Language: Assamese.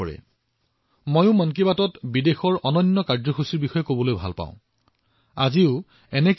আৰু মই কেতিয়াবা মন কী বাতত বিদেশত চলি থকা অনন্য কাৰ্যসূচীবোৰ আপোনালোকৰ সৈতে ভাগ বতৰা কৰিবলৈও ভাল পাওঁ